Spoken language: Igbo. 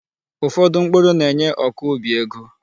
Ufodu mkpuru na-enye ọkọubi ego.